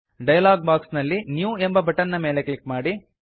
dialog box ನಲ್ಲಿ new ಎಂಬ button ಮೇಲೆ ಕ್ಲಿಕ್ ಮಾಡಿ